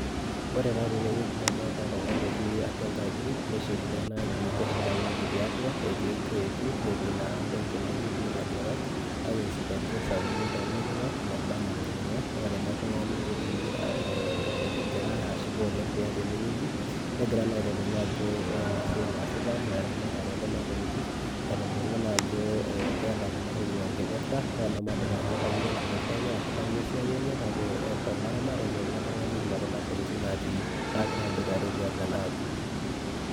Ore taa tenewueji nadolta oltungani oti atua enkaji, neshetuno enaaji tiatua netii creati naijo dii lajangak ntokitin sapukin tolajangak mebaa na lajangak, ore ele tungani netii egira ashipa tiatua enewueji negira na aitadolu ajo ore enasiai naasita na eramatare ekuna tokitin nitodolu naajo keeta kuna tokitin enkipirta o namadol ajo kanyio enkipirta enye kanyio esiai enye kake olaramatani ele lekuna tokitin naatii agira aboitare tiatua enaaji.